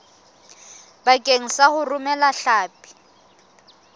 bakeng sa ho romela hlapi